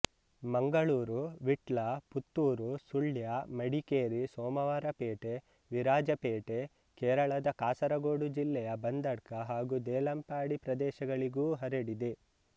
ಮಂಗಳೂರು ವಿಟ್ಲ ಪುತ್ತೂರು ಸುಳ್ಯ ಮಡಿಕೇರಿ ಸೋಮವಾರಪೇಟೆ ವಿರಾಜಪೇಟೆ ಕೇರಳದ ಕಾಸರಗೋಡು ಜಿಲ್ಲೆಯ ಬಂದಡ್ಕ ಹಾಗೂ ದೇಲಂಪಾಡಿ ಪ್ರದೇಶಗಳಿಗೂ ಹರಡಿದೆ